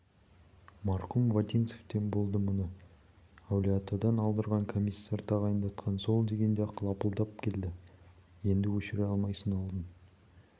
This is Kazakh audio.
марқұм вотинцевтен болды мұны әулиеатадан алдырған комиссар тағайындатқан сол дегенде-ақ лапылдап келді енді өшіре алмайсың алдын